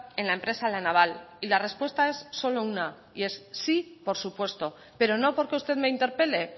en la empresa la naval y la respuesta es solo una y es sí por supuesto pero no porque usted me interpele